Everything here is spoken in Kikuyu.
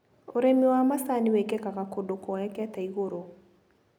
ũrĩmi wa macani wĩkĩkaga kũndũ kuoekete igũrũ.